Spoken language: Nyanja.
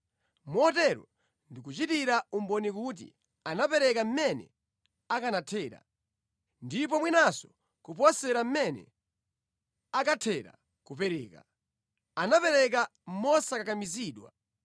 Motero ndikuchitira umboni kuti anapereka mmene akanathera, ndipo mwinanso kuposera mmene akathera kupereka. Anapereka mosakakamizidwa,